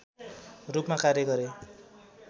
रूपमा कार्य गरे